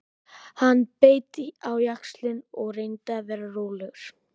Hann beit á jaxlinn og reyndi að vera rólegur.